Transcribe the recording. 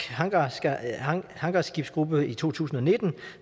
hangarskibsgruppe i to tusind og nitten